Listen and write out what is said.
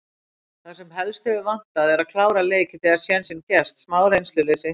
Það sem helst hefur vantað er að klára leiki þegar sénsinn gefst. smá reynsluleysi.